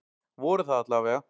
Voru það alla vega.